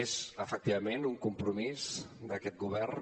és efectivament un compromís d’aquest govern